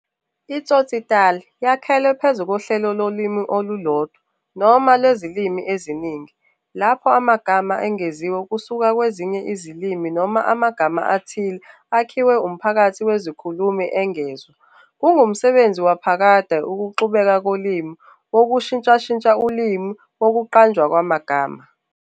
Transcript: I-tsotsitaal yakhelwe phezu kohlelo lolimi olulodwa noma lwezilimi eziningi, lapho amagama angeziwe kusuka kwezinye izilimi noma amagama athile akhiwe umphakathi wezikhulumi engezwa. Kungumsebenzi waphakade wokuxubeka kolimi, wokushintsha ulimi, nowokuqanjwa kwamagama.